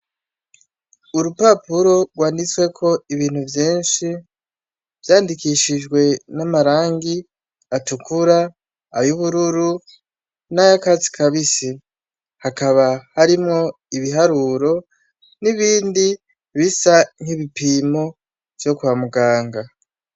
Urupapuro gwanditseko ibintu vyinshi , vyandikishijwe n'amarangi atukura , ayubururu nayakatsi kabisi. Hakaba harimwo ibiharuro, nibindi bisa nk'ibipimo vyo kwa muganga.